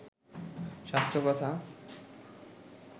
স্বাস্থ্য কথা